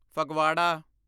Phagwara